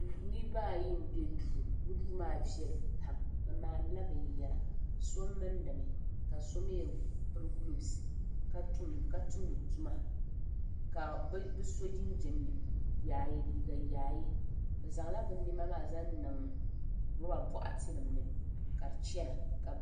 Niriba ayi m be duu bɛ duu maa viɛli pam bɛ maanila binyɛra so mindimi ka so mee piri gulovs ka tumdi tuma ka so jinjiɛm yaaye liiga yaaye bɛ zaŋla bɛ niɛma maa zaŋniŋ loba boɣati nimani.